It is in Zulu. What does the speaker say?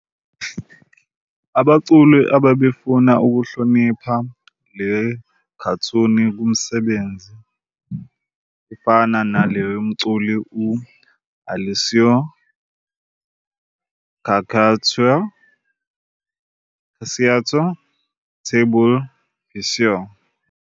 abaculi bebefuna ukuhlonipha le khathuni ngemisebenzi efana naleyo yomculi u-Alessio Cacciatore, tableau picsou,